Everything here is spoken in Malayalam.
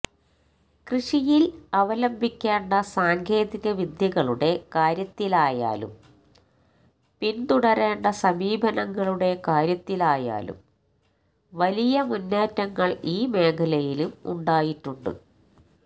കൃഷിയില് അവലംബിക്കേണ്ട സാങ്കേതികവിദ്യകളുടെ കാര്യത്തിലായാലും പിന്തുടരേണ്ട സമീപനങ്ങളുടെ കാര്യത്തിലായാലും വലിയ മുന്നേറ്റങ്ങള് ഈ മേഖലയിലും ഉണ്ടായിട്ടുണ്ട്